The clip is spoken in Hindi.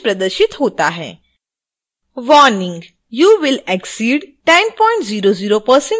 warning! you will exceed 1000% of your fund